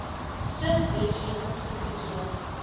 stuk wetgewing goedgekeur